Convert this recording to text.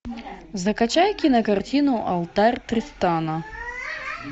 закачай кинокартину алтарь тристана